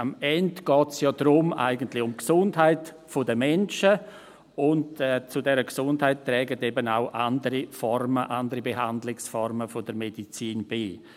Am Ende geht es ja eigentlich um die Gesundheit der Menschen, und zu dieser Gesundheit tragen eben auch andere Behandlungsformen der Medizin bei.